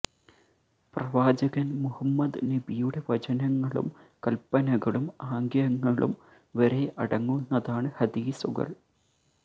പ്രവാചകൻ മുഹമ്മദ് നബിയുടെ വചനങ്ങളും കൽപ്പനകളും ആഗ്യങ്ങളും വരെ അടങ്ങുന്നതാണ് ഹദീസുകൾ